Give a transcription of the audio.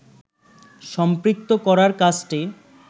সম্পৃক্ত করার কাজটি